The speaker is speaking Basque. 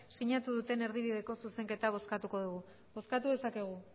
sinatu duten erdibideko zuzenketa bozkatuko dugu bozkatu dezakegu